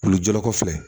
Kulu jɔkɔfɛ